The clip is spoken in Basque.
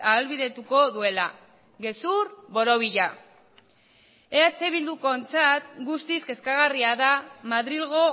ahalbidetuko duela gezur borobila eh bildukoentzat guztiz kezkagarria da madrilgo